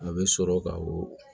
A bɛ sɔrɔ ka o